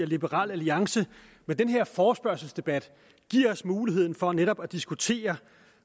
liberal alliance med den her forespørgselsdebat giver os muligheden for netop at diskutere